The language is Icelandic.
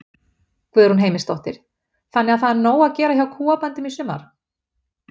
Guðrún Heimisdóttir: Þannig að það er nóg að gera hjá kúabændum í sumar?